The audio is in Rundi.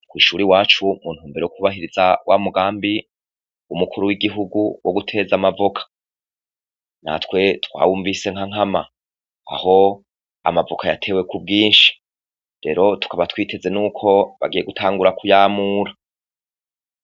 kw' ishuri iwacu, mu ntumbero kubahiriza wa mugambi umukuru w'igihugu wo guteza amavoka. Natwe twawumvise nka nkama. Aho amavoka yatewe ku bwinshi. Rero tukaba twiteze n'uko bagiye gutangura kuyamura.